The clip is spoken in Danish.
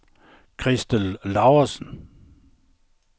Christel Laursen